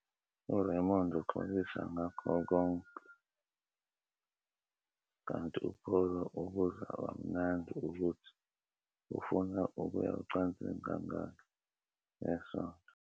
URaymond uxolisa ngakho konke, kanti uPaula ubuza kamnandi ukuthi ufuna ukuya ocansini kangaki ngesonto.